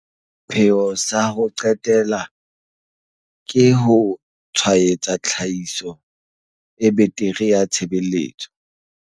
Sepheo sa ho qetela ke ho tshwaetsa tlhahiso e betere ya tshebeletso.